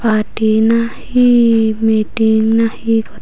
parti na he meeting na he got.